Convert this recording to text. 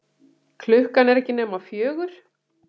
Klukkan er ekki nema fjögur.